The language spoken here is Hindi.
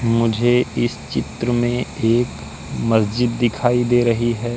मुझे इस चित्र में एक मस्जिद दिखाई दे रही हैं।